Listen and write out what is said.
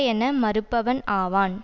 என மறுப்பவன் ஆவான்